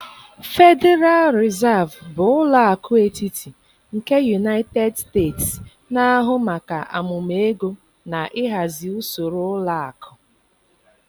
Federal Reserve bụ ụlọ akụ etiti nke United States, na-ahụ maka amụma ego na ịhazi usoro ụlọ akụ.